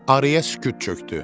Araya sükut çökdü.